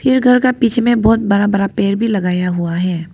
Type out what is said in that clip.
घर का पीछे में बहुत बड़ा बड़ा पेड़ भी लगाया हुआ है।